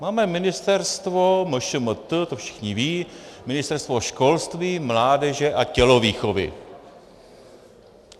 Máme ministerstvo MŠMT, to všichni vědí, Ministerstvo školství, mládeže a tělovýchovy.